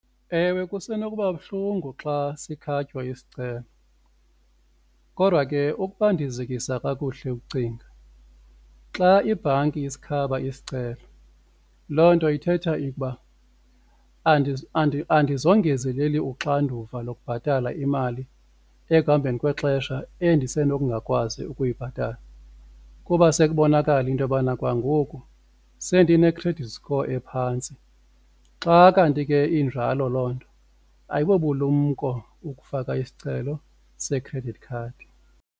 Ewe, kusenokuba buhlungu xa sikhatywa isicelo kodwa ke ukuba ndizikisa kakuhle ukucinga xa ibhanki isikhaba isicelo loo nto ithetha ikuba andizongezeleli uxanduva lokubhatala imali ekuhambeni kwexesha endisenokungakwazi ukuyibhatala kuba sekubonakala into yobana kwanangoku sendine-credit score ephantsi. Xa kanti ke injalo loo nto ayibobulumko ukufaka isicelo se-credit card.